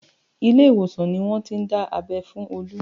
Ile ìwòsàn ni wọ́n ti dá abẹ́ fún Olu